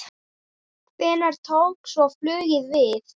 Hvenær tók svo flugið við?